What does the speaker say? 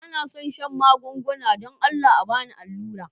Ba na son shan magunguna, dan Allah ba ni alura'n.